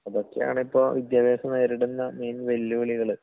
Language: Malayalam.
അതൊക്കെയാണിപ്പോ വിദ്യാഭ്യാസം നേരിടുന്ന മെയിൻ വെല്ലുവിളികള്...